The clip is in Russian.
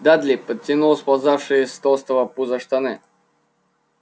дадли подтянул сползавшие с толстого пуза штаны